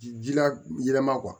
Ji la yɛlɛma